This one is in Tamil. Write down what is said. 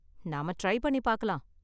நாம ட்ரை பண்ணி பாக்கலாம்.